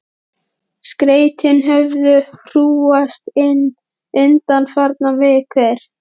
Skeytin höfðu hrúgast inn undanfarnar vikur.